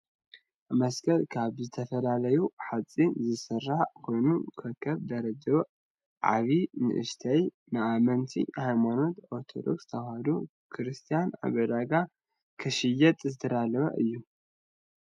መስቀል ካብ ዝተፈላለዩ ሓፂን ዝስራሕ ኮይኑ ከከብ ደረጅኡ ዓብይ ንእሽተይ ንኣመንቲ ሃይማኖት ኦርቶዶክስ ተዋህዶ ክርስትያን ኣብ ዕዳጋ ክሽየጥ ዝተዳለወ እዩ።